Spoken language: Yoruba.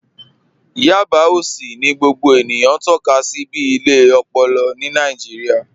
Yábà òṣì ni gbogbo ènìyàn tọka sí bí ilẹ̀ òpòlò ni Nàìjíríà